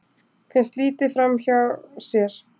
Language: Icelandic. Finnst litið framhjá sér